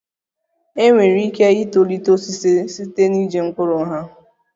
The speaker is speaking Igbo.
Enwere ike itolite osisi site na iji mkpụrụ ha